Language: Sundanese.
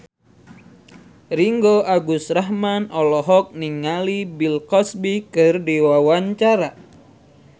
Ringgo Agus Rahman olohok ningali Bill Cosby keur diwawancara